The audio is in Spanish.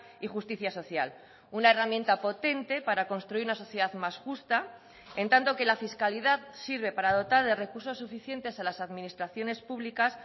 y justicia social una herramienta potente para construir una sociedad más justa en tanto que la fiscalidad sirve para dotar de recursos suficientes a las administraciones públicas